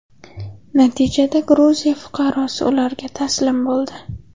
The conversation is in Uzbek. Natijada Gruziya fuqarosi ularga taslim bo‘ldi.